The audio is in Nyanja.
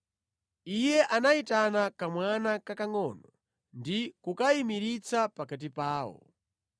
Iye anayitana kamwana kakangʼono ndi kukayimiritsa pakati pawo.